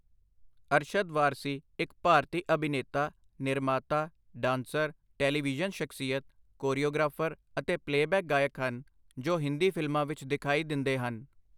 ਅਰਸ਼ਦ ਵਾਰਸੀ ਇੱਕ ਭਾਰਤੀ ਅਭਿਨੇਤਾ, ਨਿਰਮਾਤਾ, ਡਾਂਸਰ, ਟੈਲੀਵਿਜ਼ਨ ਸ਼ਖਸੀਅਤ, ਕੋਰੀਓਗ੍ਰਾਫਰ ਅਤੇ ਪਲੇਅਬੈਕ ਗਾਇਕ ਹਨ ਜੋ ਹਿੰਦੀ ਫ਼ਿਲਮਾਂ ਵਿੱਚ ਦਿਖਾਈ ਦਿੰਦੇ ਹਨ।